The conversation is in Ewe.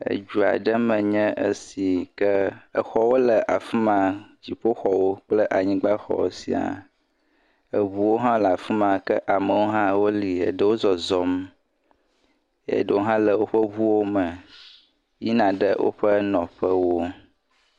Edua ɖe me nye esi ke exɔwo le afi ma. Dziƒoxɔwo kple anyigbaxɔ sia. Eŋuwo hã le afi ma ke amewo hã woli eɖewo le zɔzɔm eye ɖewo hã le woƒe ŋuwo me yina ɖe woƒe nɔƒewo.